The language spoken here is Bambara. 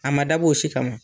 A ma dab'o si kama.